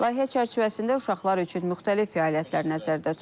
Layihə çərçivəsində uşaqlar üçün müxtəlif fəaliyyətlər nəzərdə tutulub.